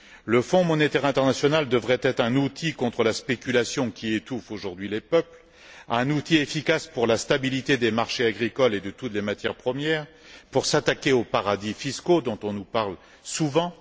Le Fonds monétaire international devrait être un outil contre la spéculation qui étouffe aujourd'hui les peuples, un outil efficace pour la stabilité des marchés agricoles et de toutes les matières premières, pour s'attaquer aux paradis fiscaux dont on nous parle souvent.